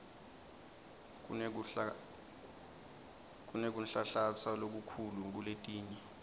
kunekunhlanhlatsa lokukhulu kuletinye